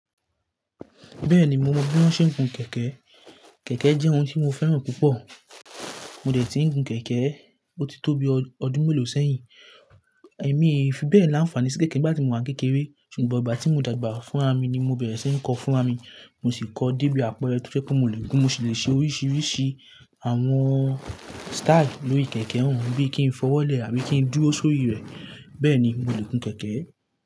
Bẹ́ẹ̀ni, mo mọ bí wón ṣe ń gun kẹ̀kẹ́. Kẹ̀kẹ́ jẹ́ ohun tí mo fẹ́ràn púpọ̀. Mo dẹ̀ tí ń gun kẹ̀kẹ́ ó ti tó bi ọdún mélòó sẹ́yìn. Èmi ofi bẹ́ẹ̀ láǹfààní sí kẹ̀kẹ́ ìgbà tí mo wà kékeré ṣùgbọ́n ìgbà tí mo dàgbà fún ra mi ni mo bẹ̀rẹ̀ sí ń kọ́ fún ra mi. Mo sì kọ́ débí àpẹrẹ̀ tó jẹ́ pé mo si lè gún, mo sì le ṣe oríṣiríṣi àwọn style lórí kẹ̀kẹ́ ọ̀hún bí i kí n fọwọ́lẹ̀ àbí kí n dúró sórí rẹ̀. Bẹ́ẹ̀ ni mo lè gun kẹ̀kẹ́.